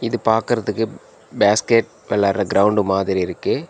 இது பாக்கற்துக்கு பாஸ்கெட் வெளாட்ற கிரவுண்டு மாதிரி இருக்கு.